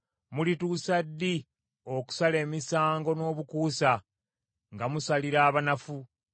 Mulituusa ddi okusala emisango n’obukuusa, nga musalira abanafu?